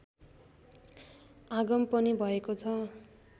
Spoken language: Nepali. आगम पनि भएकोछ